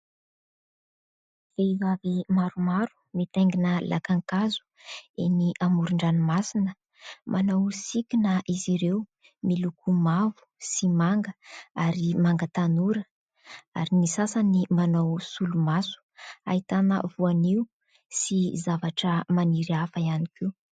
Vehivavy maromaro mitaingina lakan-kazo eny amoron-dranomasina. Manao sikina izy ireo miloko mavo sy manga ary manga tanora ary ny sasany manao solomaso ; ahitana voanio sy zavatra maniry hafa ihany koa.